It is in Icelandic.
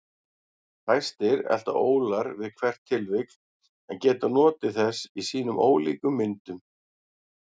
Fæstir elta ólar við hvert tilvik en geta notið þess í sínum ólíku myndum.